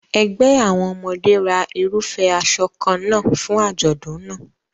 Ẹgbẹ́ àwọn ọmọdé ra irúfẹ́ aṣọ kan náà fún àjọ̀dún náà.